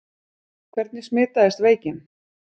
Hvernig smitaðist veikin?